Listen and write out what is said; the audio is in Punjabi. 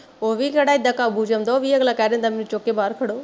ਉਹ ਵੀ ਕਿਹੜਾ ਏਦਾਂ ਕਾਬੂ ਚ ਆਉਂਦਾ ਉਹ ਵੀ ਅਗਲਾ ਕਹਿ ਦਿੰਦਾ ਮੈਨੂੰ ਚੁੱਕ ਕੇ ਬਾਹਰ ਖੜੋ